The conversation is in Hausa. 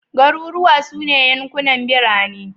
Garuruwa su ne yankunan birane